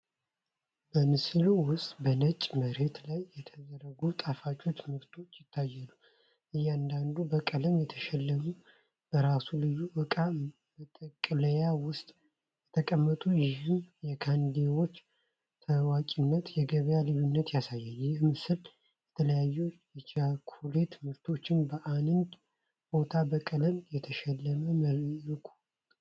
በምስሉ ውስጥ በነጭ መሬት ላይ የተዘረጉ ጣፋችህ ምርቶችህ ይታያሉ። እያንዳንዱ በቀለም የተሸለመ በራሱ ልዩ እቃ መጠቅለያ ውስጥ ተቀመጠ፣ ይህም የካንዲዎቹን ታዋቂነትና የገበያ ልዩነት ያሳያል። ይህ ምስል የተለያዩ የቻኮሌት ምርቶችን በአንድ ቦታ በቀለም የተሸለመ መልኩ ያቀርባል።